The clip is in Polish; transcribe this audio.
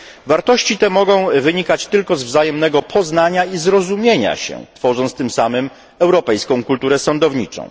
Wartości te mogą wynikać tylko ze wzajemnego poznania i zrozumienia się, tworząc tym samym europejską kulturę sądowniczą.